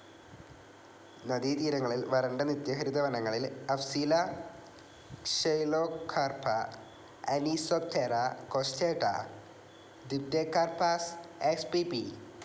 നദീതീരങ്ങളിൽ വരണ്ട നിത്യഹരിത വനങ്ങളിൽ Afzelia xylocarpa, Anisoptera costata, Dipterocarpus spp.